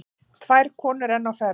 Tvær konur enn á ferð.